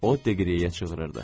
O Deqiryeyə çığırdı.